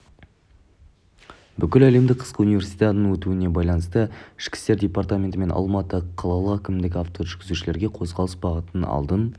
бүкіләлемдік қысқы универсиаданың өтуіне байланысты ішкі істер департаменті мен алматы қалалық әкімдігі автожүргізушілерге қозғалыс бағытын алдын